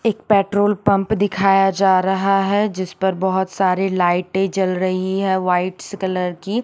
एक petrol pump दिखाया जा रहा है जिसपे बहुत सारी लाइटे जल रही है वाइटस कलर की --